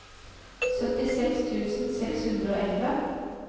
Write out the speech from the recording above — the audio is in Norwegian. syttiseks tusen seks hundre og elleve